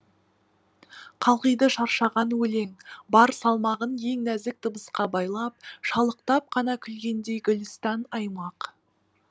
қалғиды шаршаған өлең бар салмағын ең нәзік дыбысқа байлап шалықтап қана күлгендей гүлістан аймақ